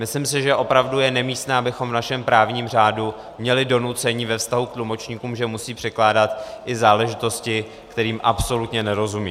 Myslím si, že opravdu je nemístné, abychom v našem právním řádu měli donucení ve vztahu k tlumočníkům, že musí překládat i záležitosti, kterým absolutně nerozumí.